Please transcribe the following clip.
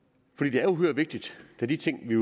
det er uhyre vigtigt da de ting vi